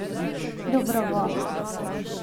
Dobrovo.